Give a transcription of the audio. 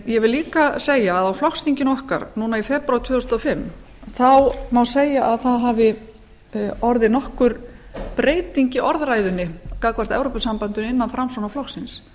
ég vil líka segja að á flokksþinginu okkar núna í febrúar tvö þúsund og fimm má segja að það hafi orðið nokkur breyting í orðræðunni gagnvart evrópusambandinu innan framsóknarflokksins